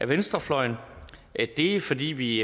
venstrefløjen det er fordi vi i